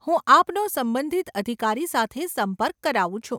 હું આપનો સંબંધિત અધિકારી સાથે સંપર્ક કરાવું છું.